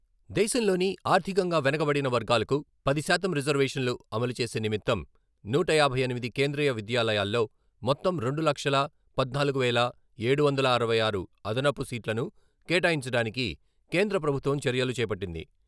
దేశంలోని ఆర్థికంగా వెనుకబడిన వర్గాలకు పది శాతం రిజర్వేషన్లు అమలు చేసే నిమిత్తం నూట యాభై ఎనిమిది కేంద్రీయ విద్యాలయాల్లో మొత్తం రెండు లక్షల పద్నాలుగు వేల ఏడు వందల అరవై ఆరు అదనపు సీట్లను కేటాయించడానికి కేంద్ర ప్రభుత్వం చర్యలు చేపట్టింది.